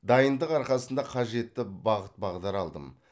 дайындық арқасында қажетті бағыт бағдар алдым